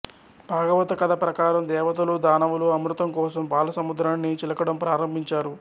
భాగవత కథ ప్రకారం దేవతలు దానవులు అమృతం కోసం పాలసముద్రాన్ని చిలకడం ప్రారంభిం చారు